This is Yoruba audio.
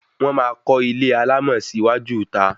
Wọ́n máa kọ́ ilé alámọ̀ sí iwájú ìta